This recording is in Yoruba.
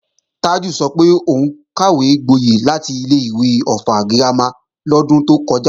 Tájù sọ pé òun kàwégboyẹ̀ láti ilé-ìwé Ọ̀ffà girama lọ́dún tó kọjá